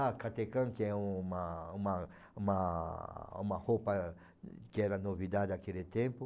Ah, catecã, que é uma uma uma uma roupa que era novidade aquele tempo.